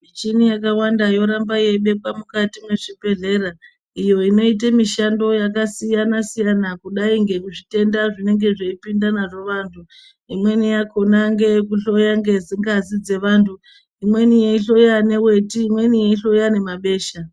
Michini yakawanda yoramba yeibekwa mwukati mwezvibhedhlera, iyo inoite mishando yakasiyana siyana kudai ngezvitenda zvinenge zveipinda nazvo vantu. Imweni yakona ngeyekuhloya ngazi dzevanhu. Imweni yeihloya neweti. Imweni yeihloya nemabesha.